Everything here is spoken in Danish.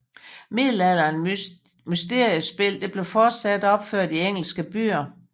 Middelalderen mysteriespil bliver fortsat opført i engelske byer